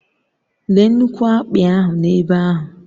Léé nnukwu akpị ahụ n'ebe ahụ